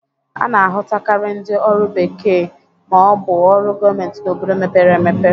A na-ahụtakarị ndị ọrụ bekee ma ọ bụ ọrụ gomenti n'obodo mepere emepe.